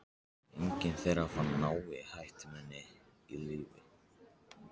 Enginn þeirra fann náin ættmenni á lífi.